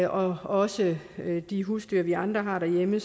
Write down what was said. og også de husdyr vi andre har derhjemme